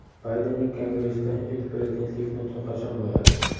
Baydenning Kongressda ilk prezidentlik nutqi qachon bo‘ladi?.